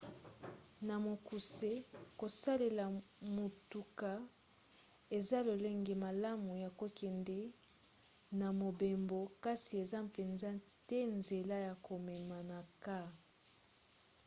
na mokuse kosalela motuka eza lolenge malamu ya kokende na mobembo kasi eza mpenza te nzela ya komema na kaa